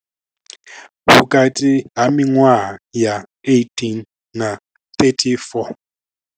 Vhukati ha miṅwaha ya 18 na 34.